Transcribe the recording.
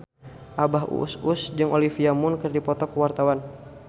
Abah Us Us jeung Olivia Munn keur dipoto ku wartawan